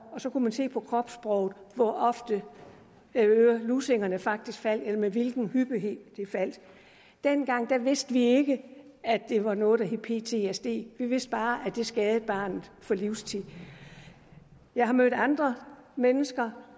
og så kunne man se på kropssproget hvor ofte lussingerne faktisk faldt eller med hvilken hyppighed de faldt dengang vidste vi ikke at det var noget der hed ptsd vi vidste bare at det skadede barnet for livstid jeg har mødt andre mennesker